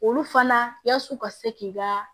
Olu fana yaas'u ka se k'i ka